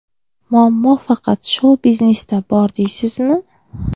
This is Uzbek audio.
Muammo faqat shou-biznesda bor, deysizmi?